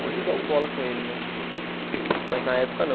Hoje eu jogo bola com ele, mas mas na época não.